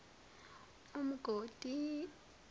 umgodi